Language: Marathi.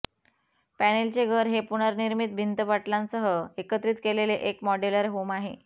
पॅनेलचे घर हे पूर्वनिर्मित भिंत पटलांसह एकत्रित केलेले एक मॉड्यूलर होम आहे